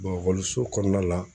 ekɔliso kɔnɔna la